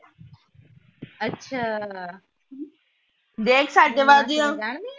ਅੱਛਾ ਆ